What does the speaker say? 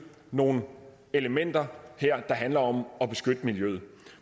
nogle elementer her der handler om at beskytte miljøet